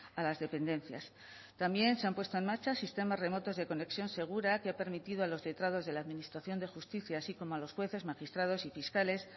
a las dependencias también se han puesto en marcha sistemas remotos de conexión segura que han permitido a los letrados de la administración de justicia así como a los jueces magistrados y fiscales